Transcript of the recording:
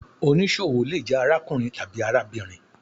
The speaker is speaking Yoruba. Onísọwo le jẹ arákùrín tabi arábírín